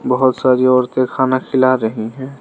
बहोत सारी औरतें खाना खिला रही हैं।